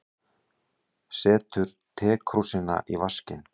Setur tekrúsina í vaskinn.